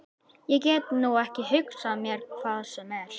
Ég get nú ekki hugsað mér hvað sem er.